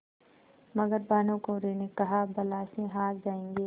मगर भानकुँवरि ने कहाबला से हार जाऍंगे